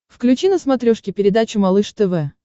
включи на смотрешке передачу малыш тв